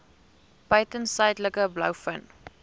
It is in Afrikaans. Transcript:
buiten suidelike blouvin